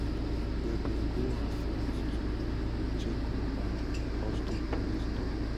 um dem bin go her flat to um check on her houston police tok.